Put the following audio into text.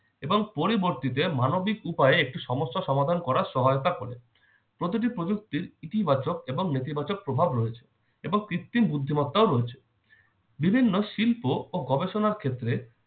এবং পরবর্তীতে মানবিক উপায়ে একটি সমস্যা সমাধান করার সহায়তা করে। প্রতিটি প্রযুক্তির ইতিবাচক এবং নেতিবাচক প্রভাব রয়েছে এবং কৃত্রিম বুদ্ধিমত্তাও রয়েছে। বিভিন্ন শিল্প ও গবেষণার ক্ষেত্রে